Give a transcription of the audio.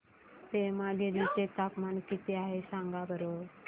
पेमगिरी चे तापमान किती आहे सांगा बरं